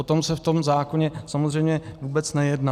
O tom se v tom zákoně samozřejmě vůbec nejedná.